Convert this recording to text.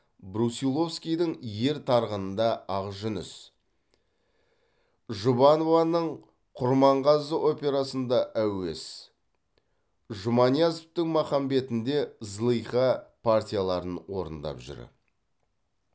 брусиловскийдің ер тарғынында ақжүніс жұбанованың құрманғазы операсында әуес жұманиязовтың махамбетінде зылиха партияларын орындап жүр